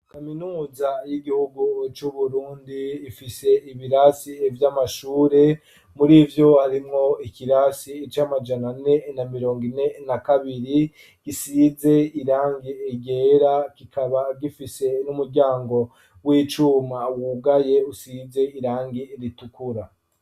Kaminuza, y'igihugu c'Uburundi, ifise ibirasi vy'amashure; muri vyo, harimwo ikirasi, c'amajana ane na mirongo ine na kabiri; gisize irangi ryera, kikaba gifise n'umuryango w'icuma, wugaye, usize irangi ritukura.